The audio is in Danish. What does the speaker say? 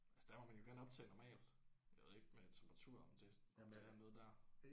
Altså der må man jo gerne optage normalt. Jeg ved ikke med temperatur om det om der er noget der